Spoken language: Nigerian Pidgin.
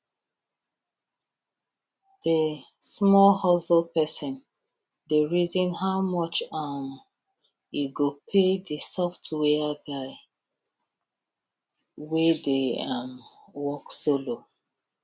the small hustle person dey reason how much um e go pay the software guy wey dey um work solo